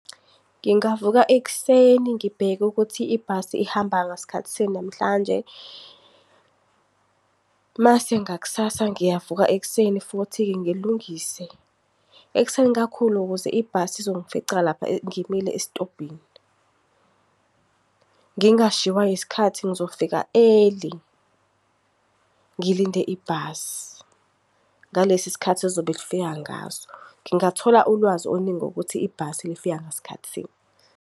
Ngingavuka ekuseni ngibheke ukuthi ibhasi ihamba ngasikhathi sini namhlanje. Mase ngaksasa ngiyavuka ekuseni futhi-ke ngilungise, ekuseni kakhulu ukuze ibhasi izongifica lapha ngimile esitobhini. Ngingashiywa isikhathi ngizofika early, ngilinde ibhasi ngalesi sikhathi elizobe lifika ngaso. Ngingathola ulwazi oluningi ngokuthi ibhasi lifika ngasikhathi sini.